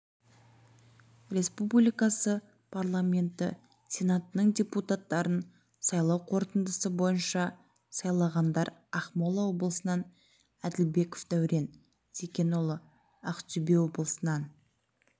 республикасы парламенті сенатының депутаттарын сайлау қорытындысы бойынша сайланғандар ақмола облысынан әділбеков дәурен зекенұлы ақтөбе облысынан